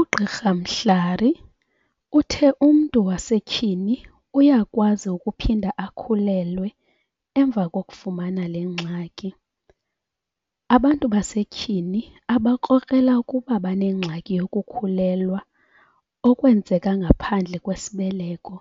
UGqr Mhlari uthe umntu wasetyhini uyakwazi ukuphinda akhulelwe emva kokufumana le gxaki. Abantu basetyhini abakrokrela ukuba banengxaki yokukhulelwa okwenzeka ngaphandle kwesibeleko